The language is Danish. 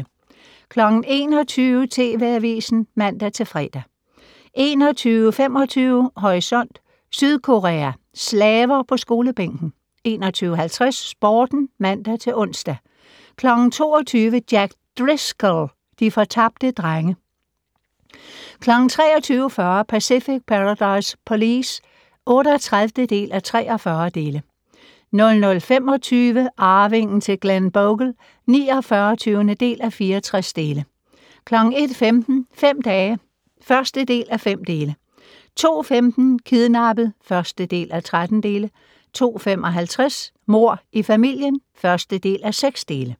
21:00: TV Avisen (man-fre) 21:25: Horisont: Sydkorea - slaver på skolebænken 21:50: Sporten (man-ons) 22:00: Jack Driscoll - de fortabte drenge 23:40: Pacific Paradise Police (38:43) 00:25: Arvingen til Glenbogle (49:64) 01:15: Fem dage (1:5) 02:15: Kidnappet (1:13) 02:55: Mord i familien (1:6)